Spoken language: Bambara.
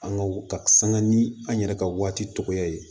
An ka ka sanga ni an yɛrɛ ka waati tɔgɔya ye